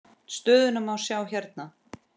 Stöðuna má sjá hérna.